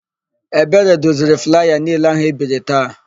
Ebere doziri flaya niile áhụ̀ e biri taa.